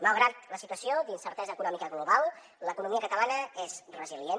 malgrat la situació d’incertesa econòmica global l’economia catalana és resilient